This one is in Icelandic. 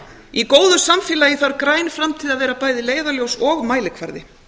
í góðu samfélagi þarf græn framtíð að vera bæði leiðarljós og mælikvarði